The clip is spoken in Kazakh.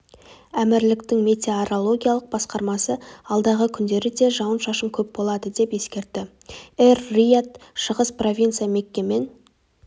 әмірліктің метеорологиялық басқармасы алдағы күндері де жауын-шашын көп болады деп ескертті эр-рияд шығыс провинция мекке мен